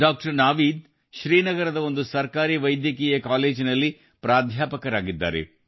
doctor Naveed ಶ್ರೀನಗರದ ಒಂದು ಸರ್ಕಾರಿ ವೈದ್ಯಕೀಯ ಕಾಲೇಜಿನಲ್ಲಿ ಪ್ರಾಧ್ಯಾಪಕರಾಗಿದ್ದಾರೆ